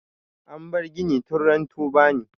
An bar gini tun ran tubani.